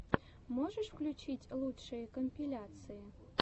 можешь включить лучшие компиляции